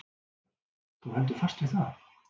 Björn: Þú heldur fast við það?